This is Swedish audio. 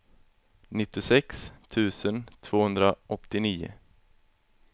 nittiosex tusen tvåhundraåttionio